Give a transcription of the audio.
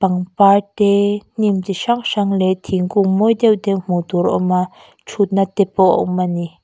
pangpar te hnim chi hrang hrang leh thingkung mawi deuh deuh hmuh tur a awm a thutna te pawh a awm a ni.